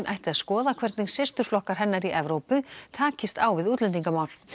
ætti að skoða hvernig systurflokkar hennar í Evrópu takist á við útlendingamál það